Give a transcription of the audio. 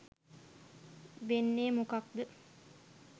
වෙන්නේ මොකද්ද